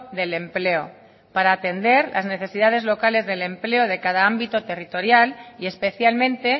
del empleo para atender las necesidades locales del empleo de cada ámbito territorial y especialmente